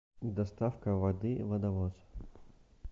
доставка воды водовоз